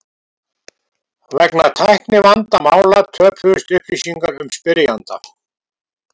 Vegna tæknivandamála töpuðust upplýsingar um spyrjanda.